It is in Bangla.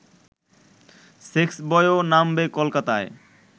সেক্সবয়ও নামবে কলকাতায়